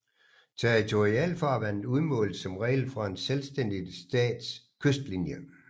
Territorialfarvandet udmåles som regel fra en selvstændig stats kystlinje